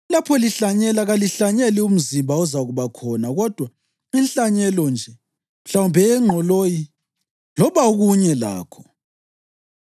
Lapho lihlanyela, kalihlanyeli umzimba ozakuba khona kodwa inhlanyelo nje, mhlawumbe eyengqoloyi loba okunye lakho.